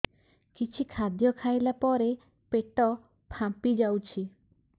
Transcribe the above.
କିଛି ଖାଦ୍ୟ ଖାଇଲା ପରେ ପେଟ ଫାମ୍ପି ଯାଉଛି